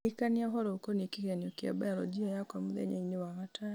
ndirikania ũhoro ũkoniĩ kĩgeranio kĩa mbayoronjĩ yakwa mũthenya-inĩ wa gatano